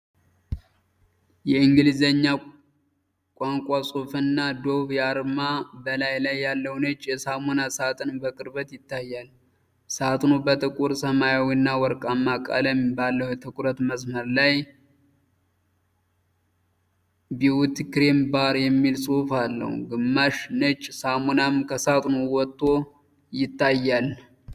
የእንግሊዘኛ ቋንቋ ጽሑፍና የ Dove አርማ በላዩ ላይ ያለ ነጭ የሳሙና ሳጥን በቅርበት ይታያል። ሳጥኑ በጥቁር ሰማያዊና ወርቃማ ቀለም ባለው የትኩረት መስመር ላይ "beauty cream bar" የሚል ጽሑፍ አለው፤ ግማሽ ነጭ ሳሙናም ከሳጥኑ ወጥቶ ይታያል።